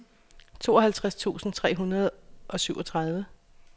tooghalvtreds tusind tre hundrede og syvogtredive